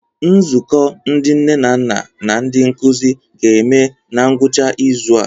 Nzukọ ndị nne na nna na ndi nkuzi ga-eme na ngwụcha izu a.